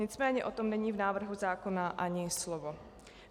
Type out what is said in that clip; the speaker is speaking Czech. Nicméně o tom není v návrhu zákona ani slovo.